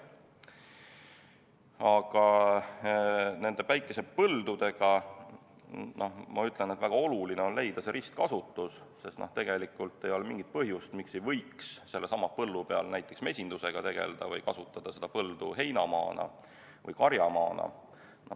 Aga nende päikesepõldude kohta ma ütlen seda, et väga oluline on leida ristkasutuse võimalus, sest tegelikult ei ole mingit põhjust, miks ei võiks sellesama põllu peal näiteks mesindusega tegeleda või kasutada seda põldu heina- või karjamaana.